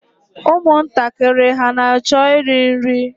Ụmụntakịrị hà na-achọ iri nri?